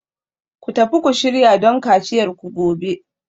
Ku tafi ku shirya don kaciyarku gobe